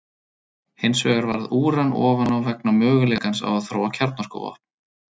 Hins vegar varð úran ofan á vegna möguleikans á að þróa kjarnorkuvopn.